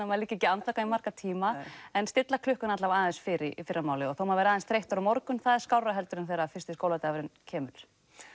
maður liggi ekki andvaka í marga tíma en stilla klukkuna alla vega aðeins fyrr í fyrramálið þó maður verði aðeins þreyttur á morgun það er aðeins skárra heldur en þegar fyrsti skóladagurinn kemur